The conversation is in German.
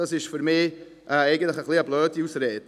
Das ist für mich eine eigentlich blöde Ausrede.